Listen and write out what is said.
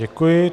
Děkuji.